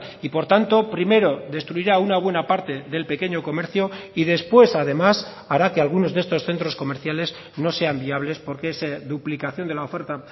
y por tanto primero destruirá una buena aparte del pequeño comercio y después además hará que algunos de estos centros comerciales no sean viables porque esa duplicación de la oferta